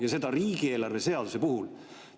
Ja seda riigieelarve seaduse puhul!